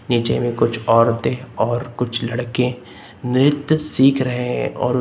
नीचे में कुछ औरतें और कुछ लड़के नृत्य सीख रहे हैं और उस--